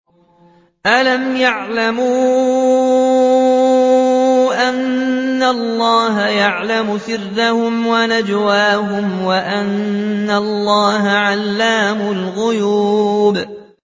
أَلَمْ يَعْلَمُوا أَنَّ اللَّهَ يَعْلَمُ سِرَّهُمْ وَنَجْوَاهُمْ وَأَنَّ اللَّهَ عَلَّامُ الْغُيُوبِ